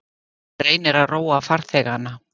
Hann reynir að róa farþegana.